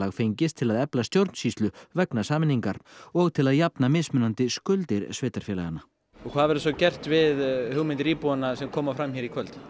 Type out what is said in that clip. fengist til að efla stjórnsýslu vegna sameiningar og til að jafna mismunandi skuldir sveitarfélaganna hvað verður svo gert við hugmyndir íbúanna sem koma fram hér í kvöld